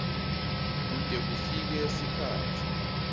kute kufike sikhatsi